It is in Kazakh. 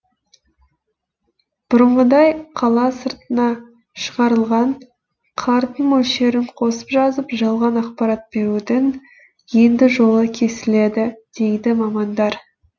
бұрынғыдай қала сыртына шығарылған қардың мөлшерін қосып жазып жалған ақпарат берудің енді жолы кесіледі дейді мамандар